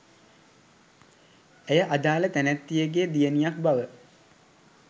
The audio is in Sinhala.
ඇය අදාළ තැනැත්තියගේ දියණියක් බව